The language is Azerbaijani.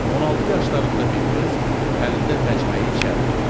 16 yaşlarında bir qız əlində məcməyi içəri girdi.